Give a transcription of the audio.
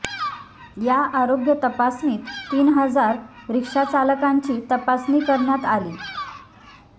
या आरोग्य तपासणीत तीन हजार रिक्षाचालकांची तपासणी करण्यात आली